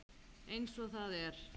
Eins og það er.